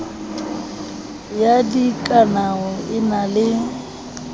ya dikanao e na le